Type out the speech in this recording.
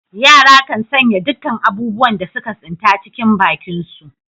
Yara kan sanya dukkan abubuwan da suka tsinta, cikin bakinsu.